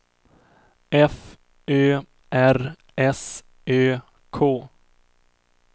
F Ö R S Ö K